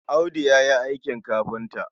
Audu ya yi aikin kafinta.